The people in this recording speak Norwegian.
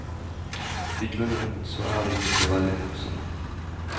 I grunnen så er vi ikke så veldig morsomme.